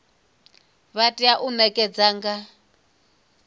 vha tea u ṋekana nga